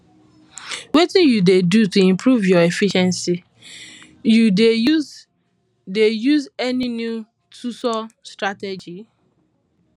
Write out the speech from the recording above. wetin you dey do to improve your efficiency you dey use dey use any new toolsor strategies